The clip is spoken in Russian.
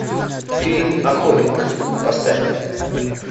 фильм охотник поставь